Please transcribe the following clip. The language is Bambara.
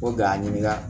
Ko ga n ɲininka